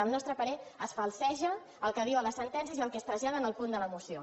al nostre parer es falseja el que diu a les sentències i el que es trasllada en el punt de la moció